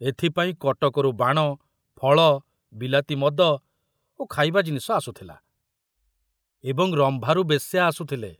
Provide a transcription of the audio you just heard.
ଏଥିପାଇଁ କଟକରୁ ବାଣ, ଫଳ, ବିଲାତି ମଦ ଓ ଖାଇବା ଜିନିଷ ଆସୁଥିଲା ଏବଂ ରମ୍ଭାରୁ ବେଶ୍ୟା ଆସୁଥିଲେ।